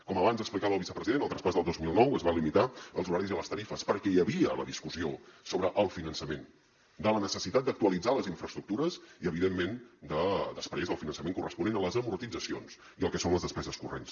com abans explicava el vicepresident el traspàs del dos mil nou es va limitar als horaris i a les tarifes perquè hi havia la discussió sobre el finançament de la necessitat d’actualitzar les infraestructures i evidentment després del finançament corresponent hi ha les amortitzacions i el que són les despeses corrents